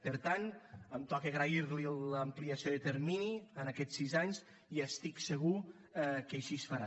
per tant em toca agrair li l’ampliació de termini en aquests sis anys i estic segur que així es farà